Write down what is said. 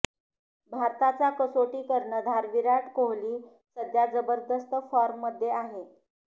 भारताचा कसोटी कर्णधार विराट कोहली सध्या जबरदस्त फॉर्ममध्ये आहे